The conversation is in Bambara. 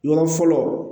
Yɔrɔ fɔlɔ